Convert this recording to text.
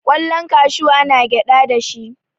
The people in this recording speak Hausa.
kwallon kashu ana gyada da shi